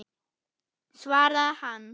svaraði hann.